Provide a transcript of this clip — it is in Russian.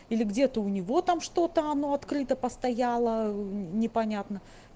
или где-то у него там что-то оно открыто постояла непонятно